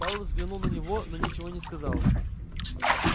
пауэлл взглянул на него но ничего не сказал